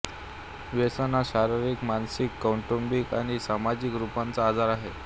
व्यसन हा शारिरीक मानसिक कौटुंबिक आणि सामाजिक स्वरूपाचा आजार आहे